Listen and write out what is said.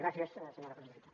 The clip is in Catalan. gràcies senyora presidenta